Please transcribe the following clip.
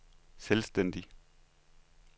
selvstændig